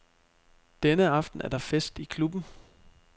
Denne aften er der fest i klubben.